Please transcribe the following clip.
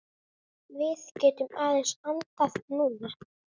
Við getum aðeins andað núna.